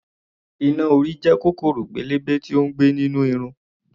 Iná-orí jẹ́ kòkòrò pélébé tí ó ń gbé nínú irun.